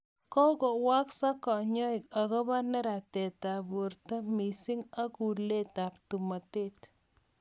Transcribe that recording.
Kakokwang'sa kanyaik akobo neratet ab borto misiing, ak kulet ab tomotet